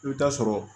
I bɛ taa sɔrɔ